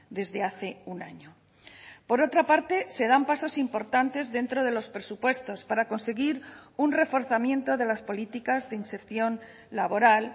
desde hace un año por otra parte se dan pasos importantes dentro de los presupuestos para conseguir un reforzamiento de las políticas de inserción laboral